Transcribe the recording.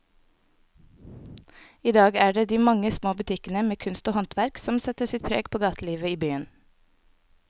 I dag er det de mange små butikkene med kunst og håndverk som setter sitt preg på gatelivet i byen.